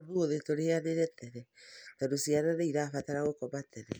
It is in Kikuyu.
Ũmũthĩ tũrĩanĩra tene tondũ ciana nĩ irabatara gũkoma tene